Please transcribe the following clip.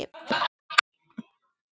Loga þú í hverju hjarta.